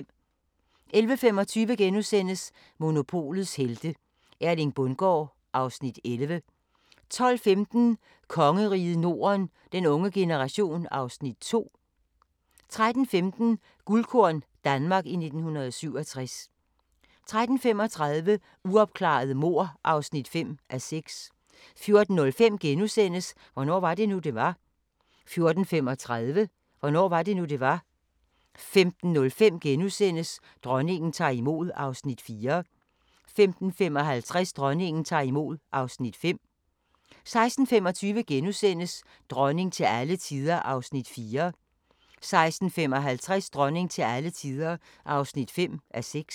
11:25: Monopolets helte - Erling Bundgaard (Afs. 11)* 12:15: Kongeriget Norden - den unge generation (Afs. 2)* 13:15: Guldkorn – Danmark i 1967 13:35: Uopklarede mord (5:6) 14:05: Hvornår var det nu, det var? * 14:35: Hvornår var det nu, det var? 15:05: Dronningen tager imod (Afs. 4)* 15:55: Dronningen tager imod (Afs. 5) 16:25: Dronning til alle tider (4:6)* 16:55: Dronning til alle tider (5:6)